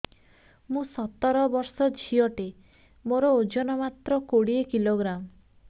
ମୁଁ ସତର ବର୍ଷ ଝିଅ ଟେ ମୋର ଓଜନ ମାତ୍ର କୋଡ଼ିଏ କିଲୋଗ୍ରାମ